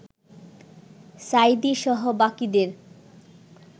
সাঈদীসহ বাকিদের